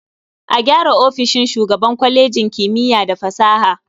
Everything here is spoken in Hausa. A gyara ofishin shugaban kwalejin kimiya da fasaha.